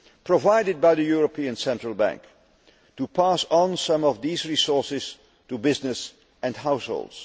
support provided by the European Central Bank to pass on some of these resources to businesses and households.